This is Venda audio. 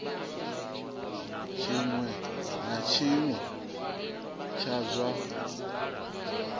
tshiṅwe na tshiṅwe tsha zwa